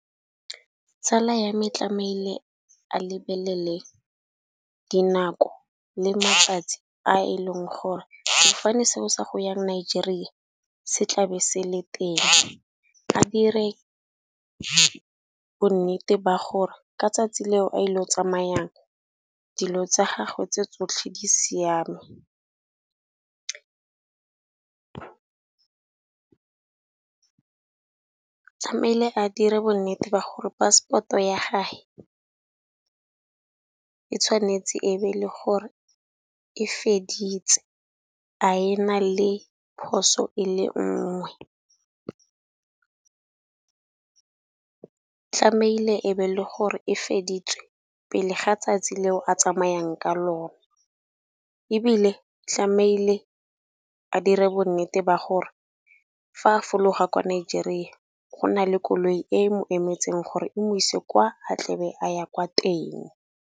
Tsala ya me tlamehile a lebelele dinako le matsatsi, a e leng gore sefofane se o sa go Nigeria se tlabe se le teng. A dire bonnete ba gore ka 'tsatsi leo a ile o tsamayang, dilo tsa gagwe tse tsotlhe di siame. Tlamehile a dire bonnete ba gore passport-o ya gage ka tshwanetse e be le gore e feditse a ena le phoso e le ngwe. Tlameile e be le gore e feditse pele ga tsatsi leo a tsamayang ka lona, ebile tlamehile a dire bonnete ba gore fa a fologa kwa Nigeria, go nna le koloi e mo emetseng gore e modise kwa a tlebe a ya kwa.